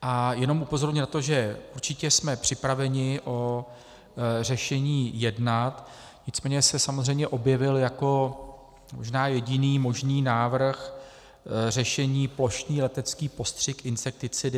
A jenom upozorním na to, že určitě jsme připraveni o řešení jednat, nicméně se samozřejmě objevil jako možná jediný možný návrh řešení plošný letecký postřik insekticidy.